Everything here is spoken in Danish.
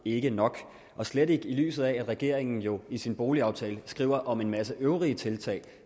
ikke nok og slet ikke i lyset af at regeringen jo i sin boligaftale skriver om en masse øvrige tiltag